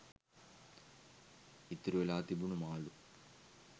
ඉතුරු වෙලා තිබුණු මාළු